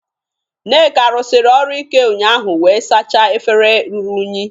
Nneka rụsiri ọrụ ike ụnyaahụ wee sachaa efere ruru unyi